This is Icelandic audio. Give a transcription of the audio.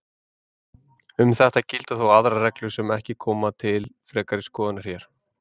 Um þetta gilda þó aðrar reglur sem ekki koma til frekari skoðunar hér.